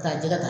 K'a jɛgɛ ta